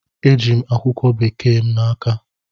E ji'm akwụkwọ Bekee m n'aka.